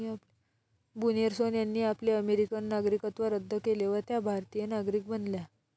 बुनेर्सोन यांनी आपले अमेरिकन नागरिकत्व रद्द केले व त्या भारतिय नागरिक बनल्या.